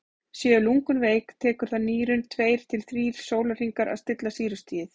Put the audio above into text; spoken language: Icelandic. séu lungun veik tekur það nýrun tveir til þrír sólarhringa að stilla sýrustigið